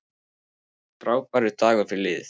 Frábær dagur fyrir lið